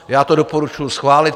Já to doporučuji schválit.